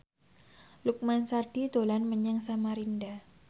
Lukman Sardi dolan menyang Samarinda